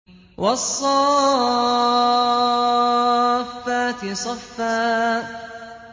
وَالصَّافَّاتِ صَفًّا